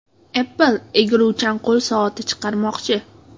Apple egiluvchan qo‘l soati chiqarmoqchi.